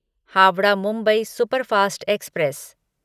Howrah Mumbai superfast express